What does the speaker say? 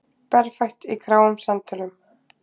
Berfætt í gráum sandölum.